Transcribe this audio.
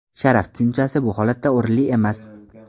Sharaf tushunchasi bu holatda o‘rinli emas.